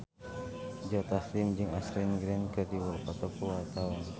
Joe Taslim jeung Ashley Greene keur dipoto ku wartawan